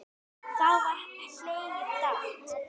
Þá var hlegið dátt.